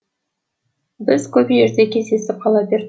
біз көп жерде кездесіп қала бер